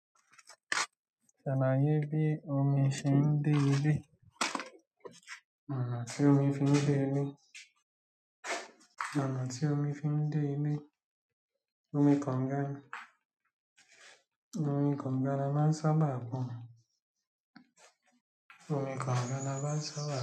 Ṣáa máa ye bí omi ṣe ń dé ilé, ọ̀nà tí omi fi ń dé ilé, ọ̀nà tí omi fi ń dé ilé. Omi kànga ni. Òmi kànga la máa sánbà pọn. Omi kànga la máa ń sábà.